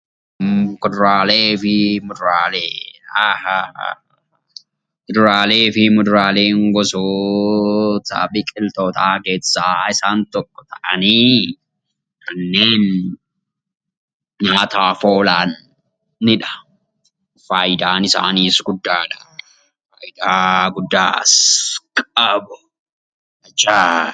Kuduraalee fi muduraaleen gosoota biqilootaa keessaa isaan tokko ta'anii kanneen nyaataaf oolanidha. Fayidaan isaaniis guddaadha. Fayidaa guddaas qabu.